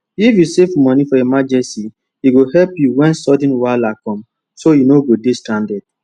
if you save money for emergency e go help you when sudden wahala come so you no go dey stranded